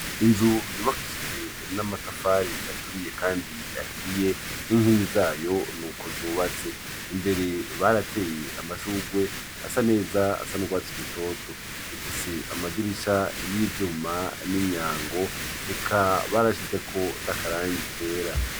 Inzu yubakishijwe n'amatafari aturiye kandi ahiye n’inkingi zayo nuko zubatse, imbere barateye amashurwe asa neza asa n'urwatsi rutoto, ifise amadirisha yivyuma nimyango eka barashizeko nakarangi kera.